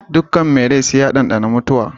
Dukkan mai rai sai ya ɗanɗani mutuwa.